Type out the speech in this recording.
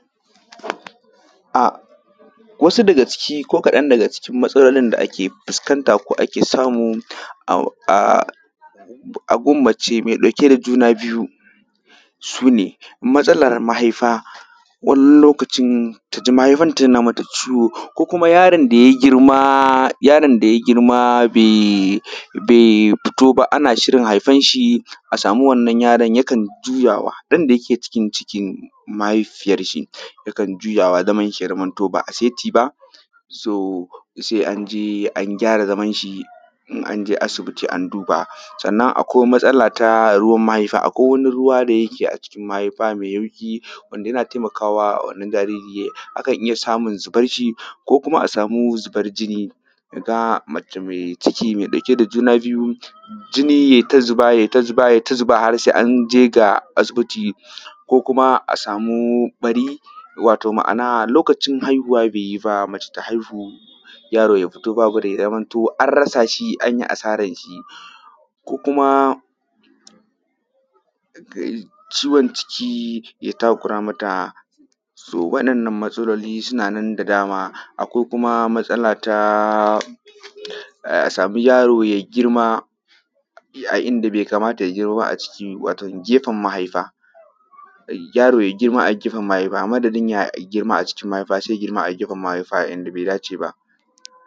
A wasu daga ciki ko kaɗan daga cikin masalolin da ake fuskanta ko aka samu a gurin mace mɛ ɗauke da juna niyu su ne matsala mahaifa wani lokacin ta ji mahaifanta yana mata ciwo ko kuma yaron da ya girma yaron da ya girma bai fito ba ana shirin haifan shi a samu wannan yaron yakan yuwa ɗan da yake cikin mahaifiyar shi ya kanjuja yakan shi ya zamanto ba a saiti ba so se an je an gyara zaman shi in an je asibiti an duba sanan akwai matsala ta ruwan mahaifa akwai wani ruwa da yake a cikin mahaifa mai yauƙi wanda yana taimaka wajen jaririn akan iya samu zubar shi ko kuma a samu zubar jini ka ga mace mai ciki mai ɗauke da juna biyu jini ya yi ta zuba ya yi ta zuba ya yi ta zuba har se an je ga asibiti ko kuma a samu ɓari wato ma’ana lokacin haihuwa be yi ba mace ta haihu yaro ya fito babu rai ya zamanto an rasa shi a yi asaran shi ko kuma ciwo na ciki ya takura mata so waɗannan matsalolin suna nan da dama akwai kuma matsala ta a sami yaro ya yi girma a inda be kamata ya girma ba a cikin mahaifa wato gefen mahaifa yaro ya girma a gefen mahaifa amadadin ya girma a mahaifa se ya girma a gefen mahaifa a inda be dace ba.